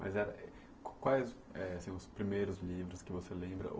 Mas quais são os primeiros livros que você lembra?